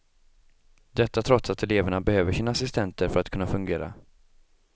Detta trots att eleverna behöver sina assistenter för att kunna fungera.